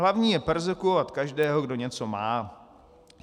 Hlavní je perzekvovat každého, kdo něco má.